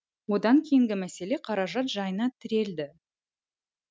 одан кейінгі мәселе қаражат жайына тірелді